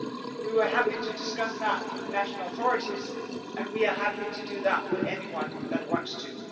We were happy to discuss that with the national authorities and we are happy to do that with anyone that wants